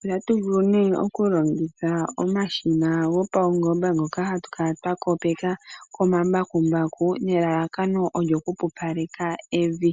Otatu vulu nee oku longitha omashina gopaungomba ngoka hatu kala twa kopeka komambakumbaku nelalakano olyo ku pupaleka evi.